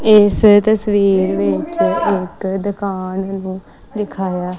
ਇਸ ਤਸਵੀਰ ਵਿੱਚ ਇੱਕ ਦੁਕਾਨ ਨੂੰ ਦਿਖਾਇਆ--